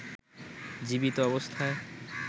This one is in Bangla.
জীবিত অবস্থায়